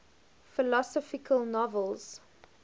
philosophical novels